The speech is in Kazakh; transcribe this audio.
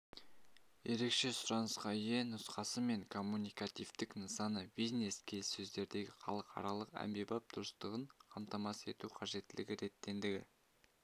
ерекше сұранысқа ие нұсқасы мен коммуникативтік нысаны бизнес-келіссөздердегі халықаралық әмбебап дұрыстығын қамтамасыз ету қажеттілігі ретіндегі